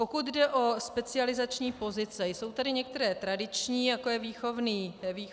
Pokud jde o specializační pozice, jsou tady některé tradiční, jako je výchovný poradce.